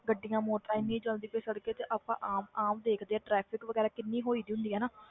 ਗੱਡੀਆਂ ਮੋਟਰਾਂ ਇੰਨੀ ਚੱਲਦੀ ਪਈ ਸੜ੍ਹਕਾਂ ਤੇ ਆਪਾਂ ਆਮ ਆਮ ਦੇਖਦੇ ਹਾਂ traffic ਵਗ਼ੈਰਾ ਕਿੰਨੀ ਹੋਈ ਹੁੰਦੀ ਆ ਨਾ,